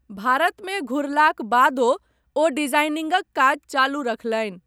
भारतमे घुरलाक बादो ओ डिजाइनिंगक काज चालू रखलनि।